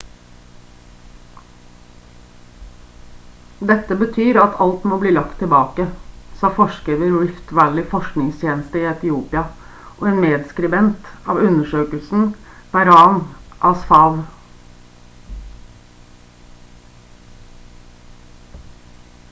«dette betyr at alt må bli lagt tilbake» sa forsker ved rift valley forskningstjeneste i etiopia og en medskribent av undersøkelsen berhane asfaw